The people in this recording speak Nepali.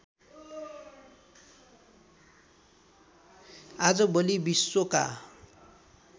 आजभोलि विश्वका